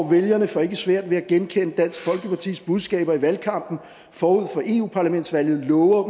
vælgerne får ikke svært ved at genkende dansk folkepartis budskaber i valgkampen forud for eu parlamentsvalget lover